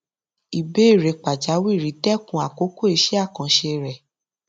ìbéèrè pàjáwìrì dẹkun àkókò iṣẹ àkànṣe rẹ